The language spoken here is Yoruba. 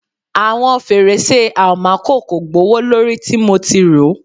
Awọn ferese almaco ko gbowolori ti mo ti ro